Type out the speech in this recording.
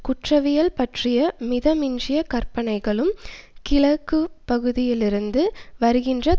குற்றவியல் பற்றிய மிதமிஞ்சிய கற்பனைகளும் கிழக்குப்பகுதியிலிருந்து வருகின்ற